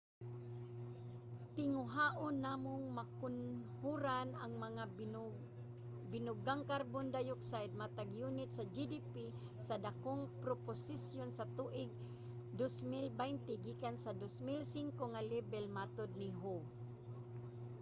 "tinguhaon namong makunhoran ang mga binugang carbon dioxide matag yunit sa gdp sa dakong proporsiyon sa tuig 2020 gikan sa 2005 nga lebel, matud ni hu